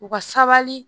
U ka sabali